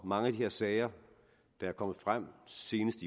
mange af de sager der er kommet frem senest